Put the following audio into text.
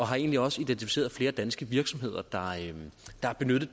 har egentlig også identificeret flere danske virksomheder der har benyttet